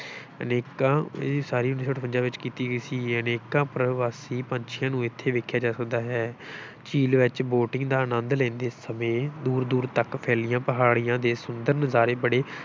ਅਨੇਕਾਂ, ਇਹਦੀ ਉਸਾਰੀ ਉੱਨੀ ਸੌ ਅਠਵੰਜਾ ਵਿੱਚ ਕੀਤੀ ਗਈ ਸੀ, ਅਨੇਕਾਂ ਪਰਵਾਸੀ ਪੰਛੀਆਂ ਨੂੰ ਇੱਥੇ ਵੇਖਿਆ ਜਾ ਸਕਦਾ ਹੈ ਝੀਲ ਵਿੱਚ boating ਦਾ ਅਨੰਦ ਲੈਂਦੇ ਸਮੇਂ ਦੂਰ-ਦੂਰ ਤੱਕ ਫੈਲੀਆਂ ਪਹਾੜੀਆਂ ਦੇ ਸੁੰਦਰ ਨਜ਼ਾਰੇ ਬੜੇ